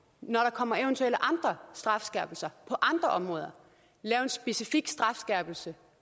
når der kommer eventuelle andre strafskærpelser på andre områder lave en specifik strafskærpelse